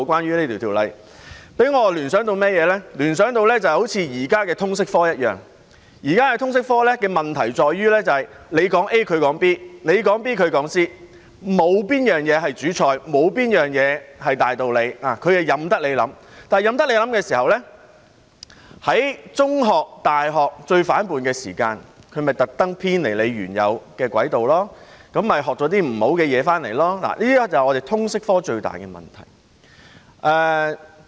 這令我聯想到好像現時的通識科一樣，現時的通識科的問題在於你說 A， 他說 B； 你說 B， 他說 C， 沒有東西是主菜，沒有東西是大道理，任由自己思考，但任由自己思考時，在中學、大學最反叛的時期，他們會故意偏離原有的軌道，學習一些不好的東西，這是香港的通識科最大的問題。